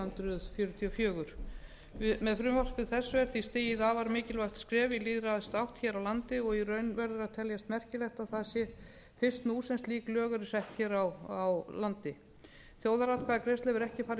hundruð fjörutíu og fjögur með frumvarpi þessu er því stigið afar mikilvægt skref í lýðræðisátt hér á landi og í raun verður að teljast merkilegt að það sé fyrst nú sem slík lög eru sett hér á landi þjóðaratkvæðagreiðsla hefur ekki farið